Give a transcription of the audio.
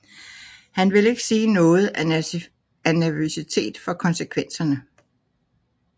Han vil ikke sige noget af nervøsitet for konsekvenserne